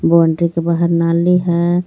बोंड्रि के बाहर नाली हे.